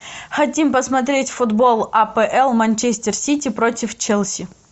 хотим посмотреть футбол апл манчестер сити против челси